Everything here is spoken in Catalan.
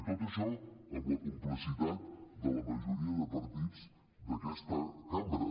i tot això amb la complicitat de la majoria de partits d’aquesta cambra